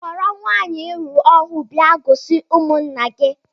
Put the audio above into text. Kpọrọ nwaanyị I lụrụ ọhụụ bịa gosi ụmụnna gị!